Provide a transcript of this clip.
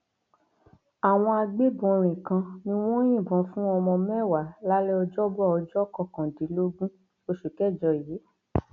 àwọn agbébọnrin kan ni wọn yìnbọn fún ọmọ mẹwàá lálẹ ọjọbọ ọjọ kọkàndínlógún oṣù kẹjọ yìí